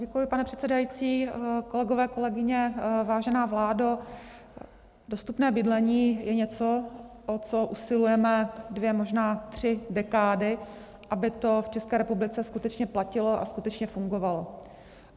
Děkuji, pane předsedající, kolegyně, kolegové, vážená vládo, dostupné bydlení je něco, o co usilujeme dvě, možná tři dekády, aby to v České republice skutečně platilo a skutečně fungovalo.